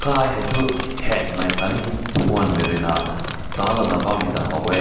kai hae toh heng mai ne aakat ne phün rui na tan na bam haw meh.